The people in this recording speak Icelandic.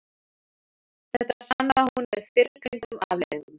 Þetta sannaði hún með fyrrgreindum afleiðingum.